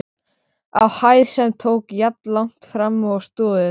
á hæð, sem tók jafnlangt fram og stoðirnar.